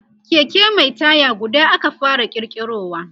Keke Mai taya guda aka fara kirkirowa